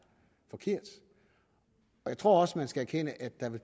forkert jeg tror også man skal erkende at der vel